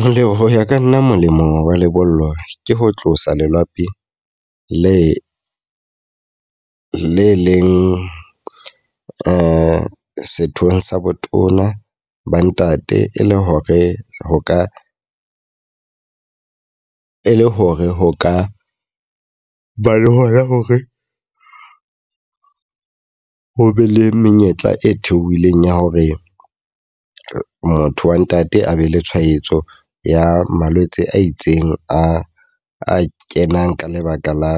Molemo ho ya ka nna molemo wa lebollo ke ho tlosa lelapi le le leng sethong sa botona ba ntate. E le hore ho ka e le hore ho ka ba le hoya hore ho be le menyetla e theohileng ya hore motho wa ntate a be le tshwaetso ya malwetse a itseng a a kenang ka lebaka la